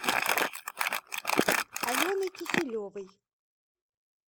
аленой киселевой